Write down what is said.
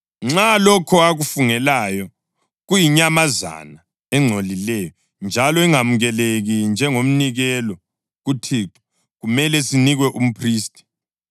Nxa lokho akufungelayo kuyinyamazana engcolileyo, njalo ingamukeleki njengomnikelo kuThixo, kumele sinikwe umphristi,